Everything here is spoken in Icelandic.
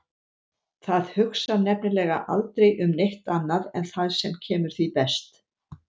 Það hugsar nefnilega aldrei um neitt annað en það sem kemur því best.